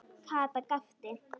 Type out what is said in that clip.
Kata gapti.